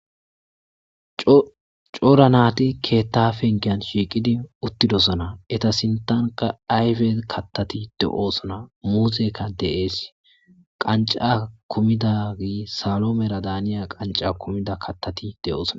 Cora nati keeta pengen shiqid utidosona. Eta sintanka ayfe katati de'osona. Muzeyka de'es. Qanc'a kumidagey salomela daniya qanc'a kumida katati de'osona.